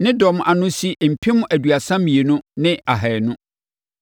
Ne dɔm ano si mpem aduasa mmienu ne ahanum (32,200).